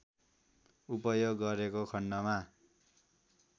उपयोग गरेको खण्डमा